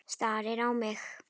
Starir á mig.